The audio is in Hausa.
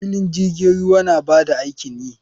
Filin jirgin ruwa na ba da aikin yi.